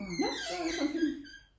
Ja hvad var det for en film?